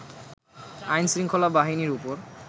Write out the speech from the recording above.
আইনশৃঙ্খলা বাহিনীর ওপর